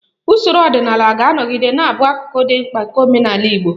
Usoro ọdịnala ga-anọgide na-abụ akụkụ dị mkpa nke omenala Igbo